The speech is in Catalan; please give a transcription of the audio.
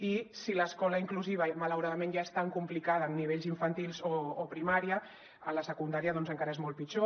i si l’escola inclusiva malauradament ja és tan complicada en nivells infantils o primària en la secundària doncs encara és molt pitjor